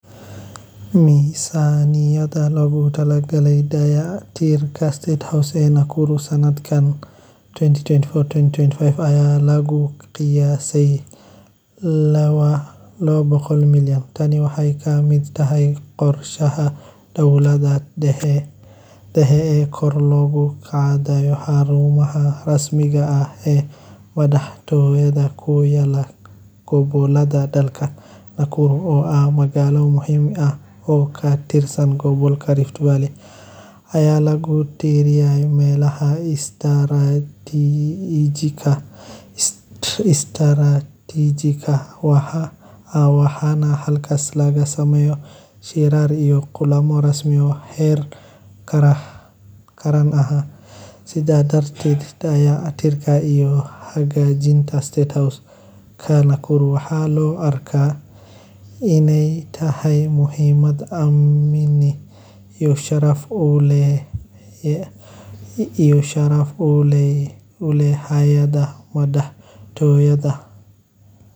Misaniyada loogu talagalay dayactirka State House ee Soomaaliya—asluub ahaan loogu yeero hoyga Madaxweynaha ee Kenya—waxay qayb ka yihiin miisaaniyadda horumarinta ee sanadka maaliyadeedka , iyadoo dowladda ku dhawaaqday in sided boqol oo milyan loo qoondeeyey dib-u-habaynta iyo dayactirka guud ee xarumaha madaxtooyada Qorshahan waxaa dowladda ku tilmaantay mid lagama maarmaan u ah ilaalinta qaab-dhismeedyada muhiimka ah ee madaxtooyada iyo taageeridda howlaha shaqo ee xafiiska